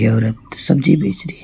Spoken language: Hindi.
औरत सब्जी भेज रही है।